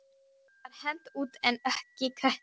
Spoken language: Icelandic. Fúsa var hent út en ekki Kötu.